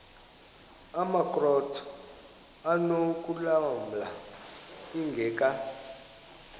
amakrot anokulamla ingeka